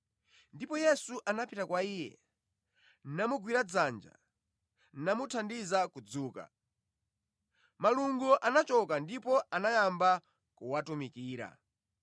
Ndipo Yesu anapita kwa iye, namugwira dzanja namuthandiza kudzuka. Malungo anachoka ndipo anayamba kuwatumikira.